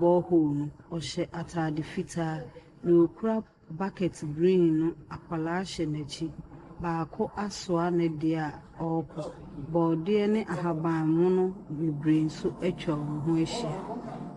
borehole no. ɔhyɛ atade fitaa. Deɛ ɔkura bucket green no, akwadaa hyɛ n'akyi. Baako asoa ne deɛ a ɔrekɔ. Borɔdeɛ ne ahaban mono bebree nso atwa wɔn ho ahyia.